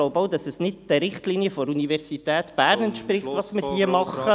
Ich glaube auch, es entspricht nicht den Richtlinien der Universität Bern, was wir hier tun.